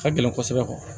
Ka gɛlɛn kosɛbɛ